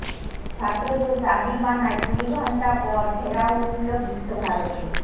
ছাত্রদের দাবি মানায় কুড়ি ঘণ্টা পর ঘেরাও উঠল বিশ্বভারতীর